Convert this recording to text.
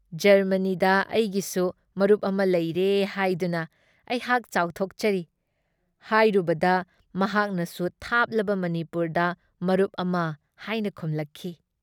ꯖꯔꯃꯅꯤꯗ ꯑꯩꯒꯤꯁꯨ ꯃꯔꯨꯞ ꯑꯃ ꯂꯩꯔꯦ ꯍꯥꯏꯗꯨꯅ ꯑꯩꯍꯥꯛ ꯆꯥꯎꯊꯣꯛꯆꯔꯤꯍꯥꯏꯔꯨꯕꯗ ꯃꯍꯥꯛꯅꯁꯨ ꯊꯥꯞꯂꯕ ꯃꯅꯤꯄꯨꯔꯗ ꯃꯔꯨꯞ ꯑꯃ ꯍꯥꯏꯅ ꯈꯨꯝꯂꯛꯈꯤ ꯫